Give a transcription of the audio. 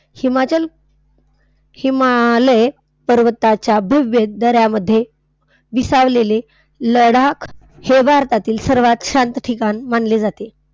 हिमाचल हिमालय पर्वताच्या भव्य दऱ्यांमध्ये विसावलेले लडाख हे भारतातील सर्वात शांत ठिकाण मानले जाते.